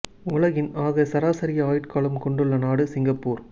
உலகின் ஆக அதிக சராசரி ஆயுட்காலம் கொண்டுள்ள நாடு சிங்கப்பூர்